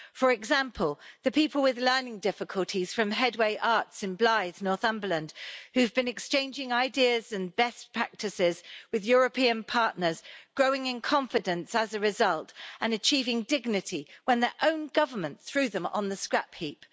For example, the people with learning difficulties from Headway Arts in Blyth, Northumberland, who've been exchanging ideas and best practices with European partners, growing in confidence as a result and achieving dignity when their own government threw them on the scrapheap.